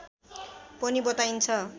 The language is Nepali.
पनि बताइन्छ